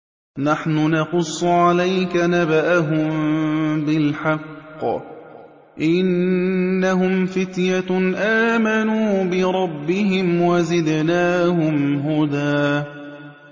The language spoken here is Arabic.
نَّحْنُ نَقُصُّ عَلَيْكَ نَبَأَهُم بِالْحَقِّ ۚ إِنَّهُمْ فِتْيَةٌ آمَنُوا بِرَبِّهِمْ وَزِدْنَاهُمْ هُدًى